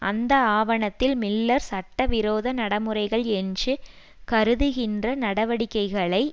அந்த ஆவணத்தில் மில்லர் சட்டவிரோத நடைமுறைகள் என்று கருதுகின்ற நடவடிக்கைகளை